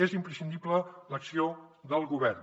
és imprescindible l’acció del govern